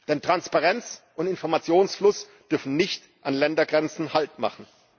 Denn Transparenz und Informationsfluss dürfen nicht an Ländergrenzen Halt machen.